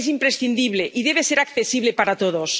Es imprescindible y debe ser accesible para todos.